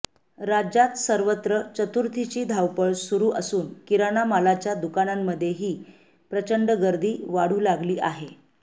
राज्यात सर्वत्र चतुर्थीची धावपळ सुरू असून किराणा मालाच्या दुकांनामध्येही प्रचंड गर्दी वाढू लागली आहे